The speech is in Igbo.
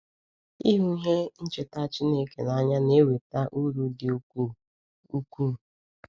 Ịhụ ihe ncheta Chineke n’anya na-eweta uru dị ukwuu. ukwuu.